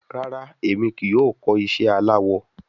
Rara, Emi kii yoo kọ iṣẹ alawọ